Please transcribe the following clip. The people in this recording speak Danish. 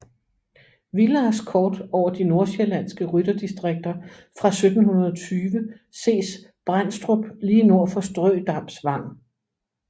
Willars kort over de nordsjællandske rytterdistrikter fra 1720 ses Bendstrup lige nord for Ströe Dams Wang